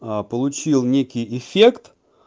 получил некий эффект